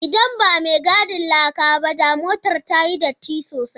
Idan ba mai gadin laka ba, da motar ta yi datti sosai.